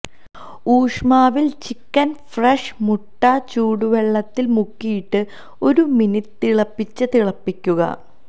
ഊഷ്മാവിൽ chicken fresh മുട്ട ചൂടുവെള്ളത്തിൽ മുക്കിയിട്ട് ഒരു മിനുട്ട് തിളപ്പിച്ച് തിളപ്പിക്കുക